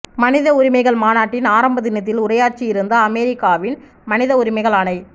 மனித உரிமைகள் மாநாட்டின் ஆரம்ப தினத்தில் உரையாற்றி இருந்த அமெரிக்காவின் மனித உரிமைகள் ஆணை